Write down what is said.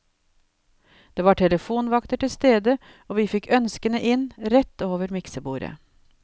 Det var telefonvakter til stede og vi fikk ønskene inn, rett over miksebordet.